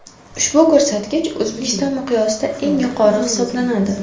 Ushbu ko‘rsatkich O‘zbekiston miqyosida eng yuqori hisoblanadi.